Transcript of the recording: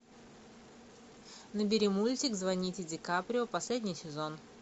набери мультик звоните дикаприо последний сезон